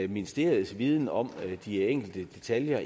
ministeriets viden om de enkelte detaljer